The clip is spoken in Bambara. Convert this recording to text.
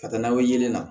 Ka taa n'a ye